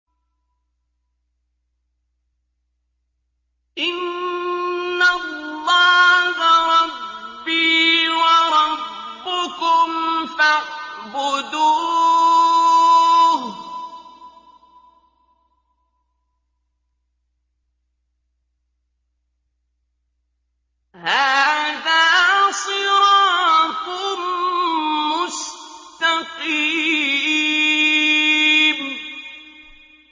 إِنَّ اللَّهَ رَبِّي وَرَبُّكُمْ فَاعْبُدُوهُ ۗ هَٰذَا صِرَاطٌ مُّسْتَقِيمٌ